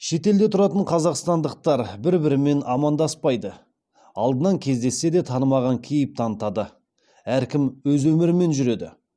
шетелде тұратын қазақстандықтар бір бірімен амандаспайды алдынан кездессе де танымаған кейіп танытады әркім өз өмірімен жүреді